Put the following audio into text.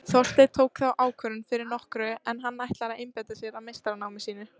Þorsteinn tók þá ákvörðun fyrir nokkru en hann ætlar að einbeita sér að meistaranámi sínu.